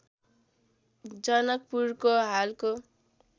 जनकपुरको हालको